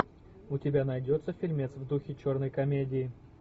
у тебя найдется фильмец в духе черной комедии